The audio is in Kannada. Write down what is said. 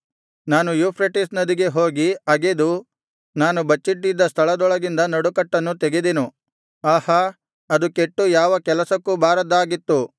ನಾನು ಯೂಫ್ರೆಟಿಸ್ ನದಿಗೆ ಹೋಗಿ ಅಗೆದು ನಾನು ಬಚ್ಚಿಟ್ಟ ಸ್ಥಳದೊಳಗಿಂದ ನಡುಕಟ್ಟನ್ನು ತೆಗೆದೆನು ಆಹಾ ಅದು ಕೆಟ್ಟು ಯಾವ ಕೆಲಸಕ್ಕೂ ಬಾರದ್ದಾಗಿತ್ತು